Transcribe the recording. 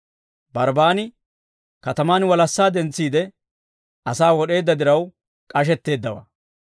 Barbbaan katamaan walassaa dentsiide, asaa wod'eedda diraw, k'ashetteeddawaa.